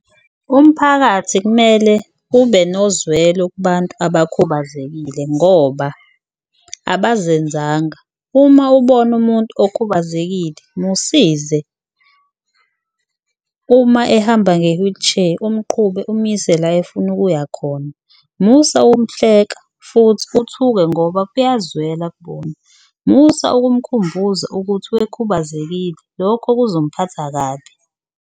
Umphakathi kumele ube nozwelo kubantu abakhubazekile ngoba abazenzanga, uma ubona umuntu okhubazekile musize uma ehamba nge-wheelchair umqhube umuyise la efuna ukuya khona. Musa ukumhleka futhi uthuke ngoba kuyazwela kubona, musa umkhumbuza ukuthi wekhubazekile lokho kuzomphatha kabi.